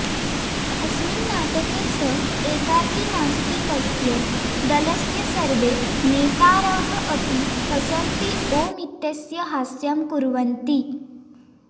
अस्मिन् नाटके स एकाकी नास्ति तस्य दलस्य सर्वे नेतारः अपि हसन्ति ॐ इन्त्यस्य हास्यं कुर्वन्ति